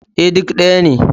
E, duk ɗaya ne.